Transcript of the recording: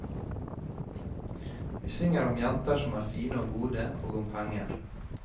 Vi synger om jenter som er fine og gode, og om penger.